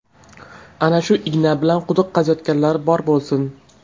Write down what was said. Ana shu igna bilan quduq qaziyotganlar bor bo‘lsin!